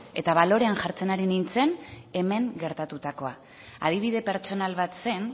eta balorean jartzen ari nintzen hemen gertatutako adibide pertsonal bat zen